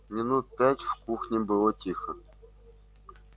минут пять в кухне было тихо